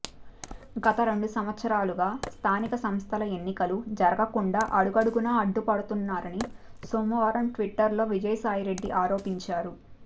గత రెండు సంవత్సరాలుగా స్థానిక సంస్థల ఎన్నికలు జరగకుండా అడుగడుగునా అడ్డుపడుతున్నారని సోమవారం ట్విట్టర్లో విజయసాయిరెడ్డి ఆరోపించారు